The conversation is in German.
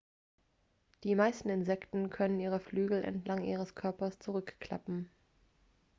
die meisten insekten können ihre flügel entlang ihres körpers zurückklappen